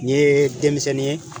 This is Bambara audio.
N ye denmisɛnnin ye